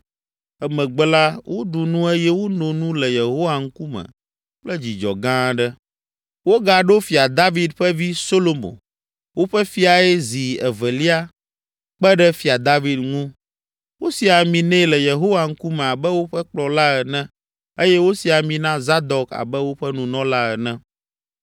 Emegbe la, woɖu nu eye wono nu le Yehowa ŋkume kple dzidzɔ gã aɖe. Wogaɖo Fia David ƒe vi, Solomo, woƒe Fiae zi evelia kpe ɖe Fia David ŋu. Wosi ami nɛ le Yehowa ŋkume abe woƒe kplɔla ene eye wosi ami na Zadok abe woƒe Nunɔla ene.